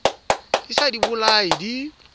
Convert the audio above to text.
di sa di bolaye di